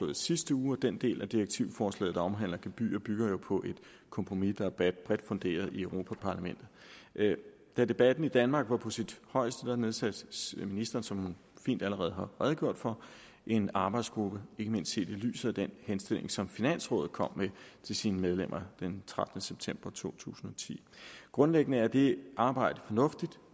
i sidste uge og den del af direktivforslaget der omhandler gebyrer bygger jo på et kompromis der er bredt funderet i europa parlamentet da debatten i danmark var på sit højeste nedsatte ministeren som hun fint allerede har redegjort for en arbejdsgruppe ikke mindst set i lyset af den henstilling som finansrådet kom med til sine medlemmer den trettende september to tusind og ti grundlæggende er det arbejde fornuftigt